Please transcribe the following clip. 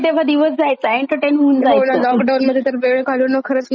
Lockdown तर वेळ काढणं खरंच मुश्किल जायचं. एकतर घरातच बसून.